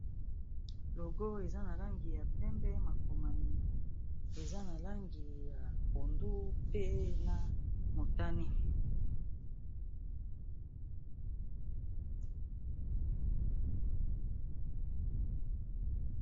Logo oyo eza na langi ya pembe makomami eza na langi ya pondu pe na motane.